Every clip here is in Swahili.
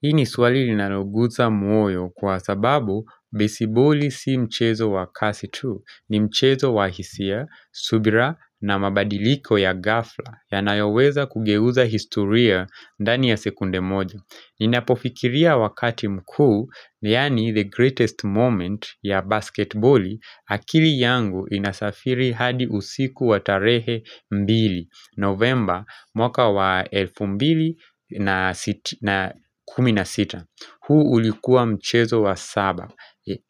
Hii ni swali linaloguza moyo kwa sababu besiboli si mchezo wa kasi tu. Ni mchezo wa hisia, subira na mabadiliko ya ghafla yannayoweza kugeuza historia dani ya sekunde moja. Ninapofikiria wakati mkuu, yaani the greatest moment ya basketboli, akili yangu inasafiri hadi usiku wa tarehe mbili, novemba mwaka wa elfu mbili na kumi na sita. Huu ulikuwa mchezo wa saba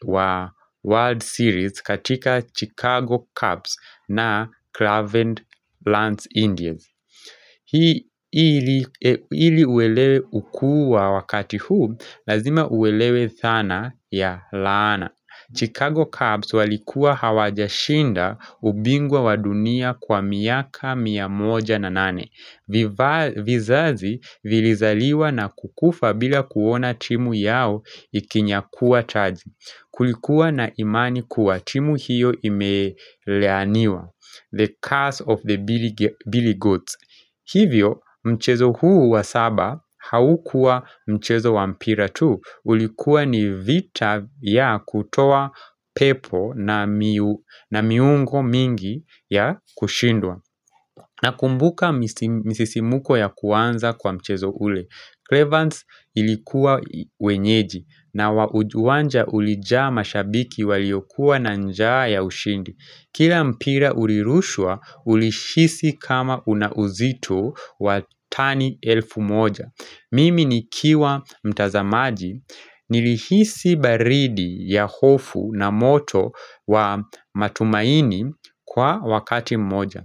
wa World Series katika Chicago Cubs na Clavent Lance Indians. Hii ili uelewe ukuu wa wakati huu, lazima uelewe dhana ya laana. Chicago Cubs walikuwa hawajashinda ubingwa wa dunia kwa miaka, mia moja na nane. Vizazi vilizaliwa na kukufa bila kuona timu yao ikinyakuwa taji Kulikuwa na imani kuwa timu hiyo imelaaniwa The curse of the Billy Goats Hivyo mchezo huu wa saba haukuwa mchezo wa mpira tu ulikuwa ni vita vya kutoa pepo na miungo mingi ya kushindwa Nakumbuka misisimko ya kuanza kwa mchezo ule. Clevance ilikuwa wenyeji na uwanja ulijaa mashabiki waliyokuwa na njaa ya ushindi. Kila mpira ulirushwa ulihisi kama una uzito wa tani elfu moja. Mimi nikiwa mtazamaji nilihisi baridi ya hofu na moto wa matumaini kwa wakati moja.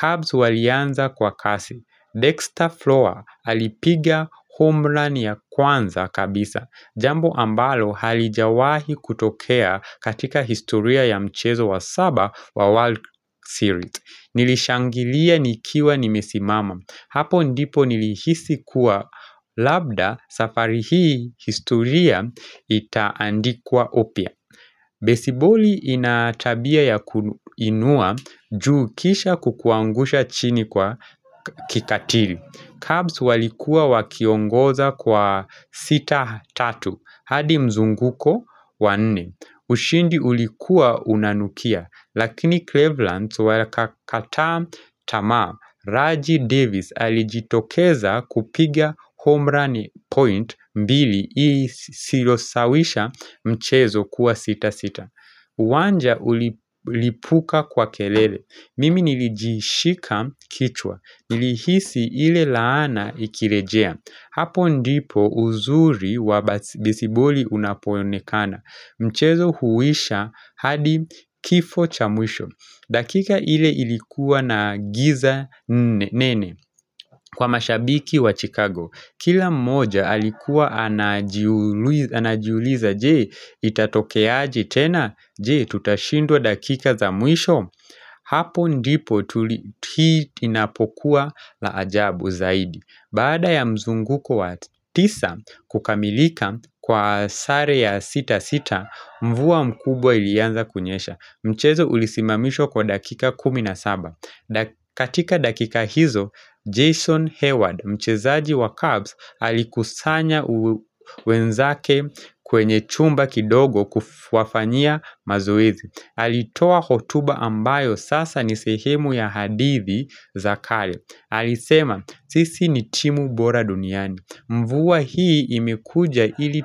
Cubs walianza kwa kasi. Dexter Flora alipiga homerun ya kwanza kabisa. Jambo ambalo halijawahi kutokea katika historia ya mchezo wa saba wa World Series. Nilishangilia nikiwa nimesimama. Hapo ndipo nilihisi kuwa labda safari hii historia itaandikuwa upya. Besiboli ina tabia ya kuinua juu kisha kukuangusha chini kwa kikatiri. Cubs walikua wakiongoza kwa sita tatu, hadi mzunguko wa nne. Ushindi ulikua unanukia, lakini Cleveland wakakataa tamaa. Raji Davis alijitokeza kupiga home run point mbili ili silosawisha mchezo kuwa sita sita Wanja ulilipuka kwa kelele Mimi nilijishika kichwa Nilihisi ile laana ikirejea Hapo ndipo uzuri wa besiboli unapoonekana Mchezo huisha hadi kifo cha mwisho dakika ile ilikuwa na giza nene kwa mashabiki wa Chicago Kila mmoja alikuwa anajiuliza je itatokeaje tena je tutashindwa dakika za mwisho Hapo ndipo hii inapokuwa la ajabu zaidi Baada ya mzunguko wa tisa kukamilika kwa sare ya sita sita mvua mkubwa ilianza kunyesha Mchezo ulisimamishwa kwa dakika kumi na saba katika dakika hizo, Jason Hayward, mchezaji wa Cubs alikusanya wenzake kwenye chumba kidogo kuwafanyia mazoezi alitoa hotuba ambayo sasa ni sehemu ya hadithi za kale alisema, sisi ni timu bora duniani Mvua hii imekuja ili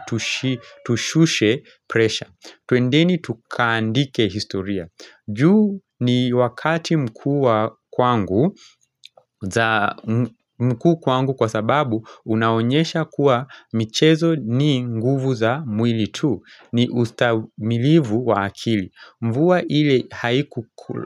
tushushe pressure Tuendeni tukaandike historia. Juu ni wakati mkuu kwangu kwa sababu unaonyesha kuwa michezo ni nguvu za mwili tu. Ni ustahimilivu wa akili. Mvua ile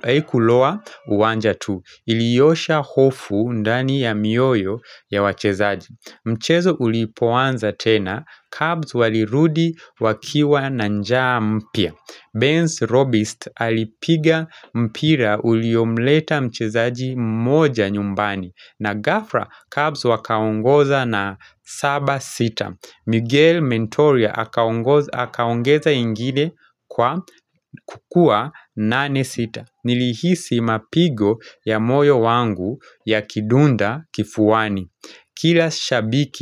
haikuloa uwanja tu. Iliosha hofu ndani ya mioyo ya wachezaji. Mchezo ulipoanza tena, Cubs walirudi wakiwa na njaa mpya Benz Robist alipiga mpira uliomleta mchezaji mmoja nyumbani na Gafra Cubs wakaongoza na saba sita Miguel Mentoria akaongeza ingine kwa kuwa nane sita Nilihisi mapigo ya moyo wangu yakidunda kifuani Kila shabiki.